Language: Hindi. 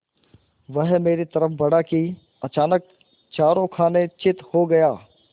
वह मेरी तरफ़ बढ़ा कि अचानक चारों खाने चित्त हो गया